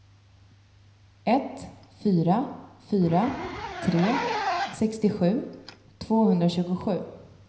ett fyra fyra tre sextiosju tvåhundratjugosju